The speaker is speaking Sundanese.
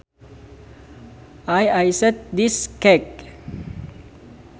I iced this cake